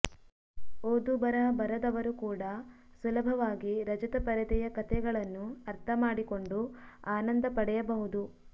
ಓದು ಬರಹ ಬರದವರೂ ಕೂಡ ಸುಲಭವಾಗಿ ರಜತ ಪರದೆಯ ಕಥೆಗಳನ್ನು ಅರ್ಥ ಮಾಡಿಕೊಂಡು ಆನಂದ ಪಡೆಯಬಹುದು